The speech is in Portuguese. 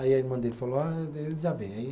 Aí a irmã dele falou, ah ele já vem, aí